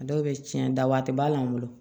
A dɔw bɛ tiɲɛ da waati b'a la n bolo